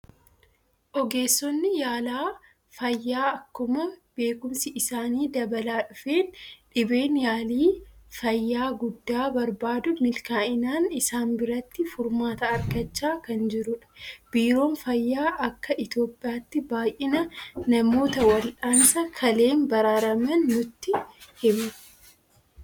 Ogeessonni yaala fayyaa akkuma beekumsi isaanii dabalaa dhufeen dhibeen yaalii fayyaa guddaa barbaadu milkaa'inaan isaan biratti furmaata argachaa kan jirudha. Biiroon Fayyaa akka Itoophiyaatti baay'ina namoota wal'aansa kaleen baraaraman nutti hima.